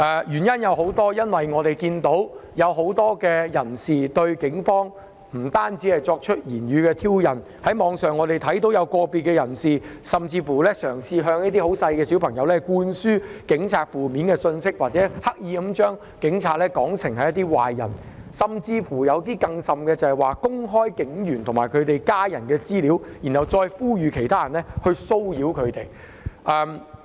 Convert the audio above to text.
原因有很多，我們看到很多人不單對警方作出言語上的挑釁，在網上也看到有個別人士甚至向一些小朋友灌輸有關警察的負面信息，刻意把警察說成是壞人，更甚的是公開警員及其家人的資料，然後呼籲其他人作出騷擾。